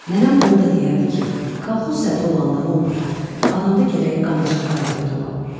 Nənəm onu da deyərdi ki, kolxoz sədri olanda nə olar, adamda gərək qanacaq qabiliyyət ola.